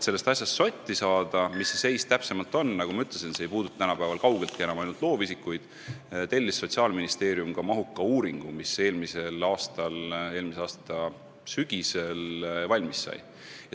Et sotti saada, missugune see seis täpsemalt on – nagu ma ütlesin, see ei puuduta tänapäeval kaugeltki enam ainult loovisikuid –, tellis Sotsiaalministeerium mahuka uuringu, mis eelmise aasta sügisel valmis sai.